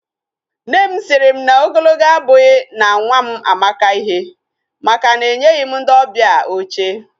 Nne sịrị m na ogologo abụghị na nwa m amaka ihe, maka na enyeghị m ndị ọbịa oche